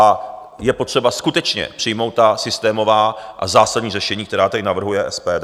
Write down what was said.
A je potřeba skutečně přijmout ta systémová a zásadní řešení, která tady navrhuje SPD.